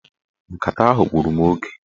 Nkata ahụ gburu mụ oge.